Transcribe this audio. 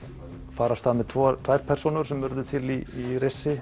fara af stað með tvær tvær persónur sem urðu til í